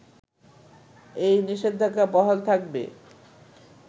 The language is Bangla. এই নিষেধাজ্ঞা বহাল থাকবে